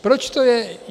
Proč to je?